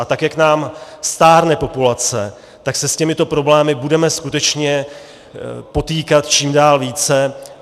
A tak jak nám stárne populace, tak se s těmito problémy budeme skutečně potýkat čím dál více.